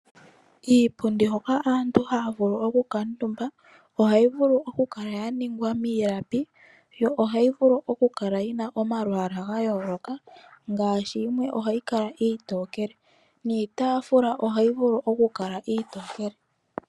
Iipundi hoka aantu haya vulu okukuutumba ohayi vulu okukala ya ningwa miilapi yo ohayi vulu okukala yi na omalwaala ga yooloka ngaashi yimwe ohayi kala iitookele. Niitaafula ohayi vulu okukala iitookele.